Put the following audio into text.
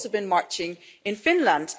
They've also been marching in Finland.